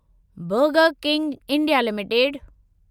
burger King India limited